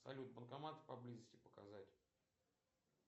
салют банкоматы поблизости показать